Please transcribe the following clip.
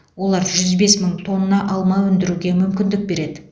олар жүз бес мың тонна алма өндіруге мүмкіндік береді